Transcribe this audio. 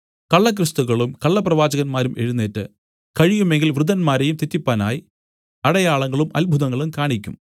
കള്ള ക്രിസ്തുക്കളും കള്ളപ്രവാചകന്മാരും എഴുന്നേറ്റ് കഴിയുമെങ്കിൽ വൃതന്മാരെയും തെറ്റിപ്പാനായി അടയാളങ്ങളും അത്ഭുതങ്ങളും കാണിയ്ക്കും